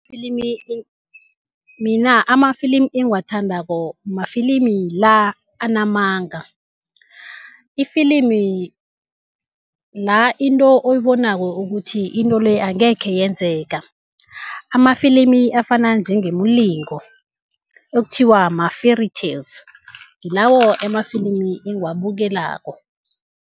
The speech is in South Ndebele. Mina amafilimi engiwithandako mafilimi la anamanga, ifilimi la into oyibonako ukuthi into le angekhe yenzeka, amafilimi afana njengemilingo ekuthiwa ma-fairytales, ngilawo amafilimi engiwabukelako.